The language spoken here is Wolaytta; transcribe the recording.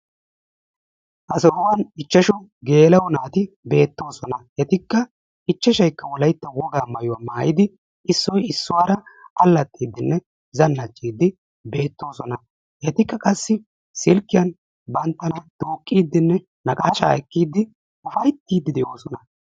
Ha sohuwan ichchashu geela'o naati beettoosona. Etikka ichchashayikka wolayitta wogaa maayuwa maayidi issoy issuwaara allaxxiiddinne zannaxiiddi beettoosona. Etikka qassi silkkiyan banttana duuqqiiddinne naqaashaa ekkiiddi ufayittiiddi de'oosona.